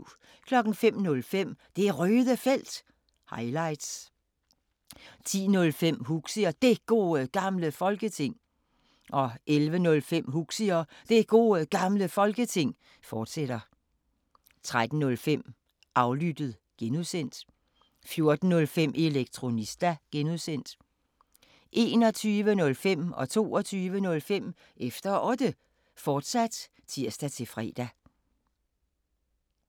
05:05: Det Røde Felt – highlights 10:05: Huxi og Det Gode Gamle Folketing 11:05: Huxi og Det Gode Gamle Folketing, fortsat 13:05: Aflyttet (G) 14:05: Elektronista (G) 21:05: Efter Otte, fortsat (tir-fre) 22:05: Efter Otte, fortsat (tir-fre)